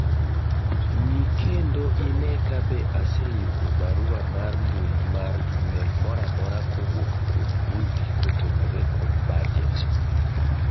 ng'i kendo ine kabe aseyudo barua mar mbui mar email mora mora kowuok kuom Ngugi kotenore kod bajet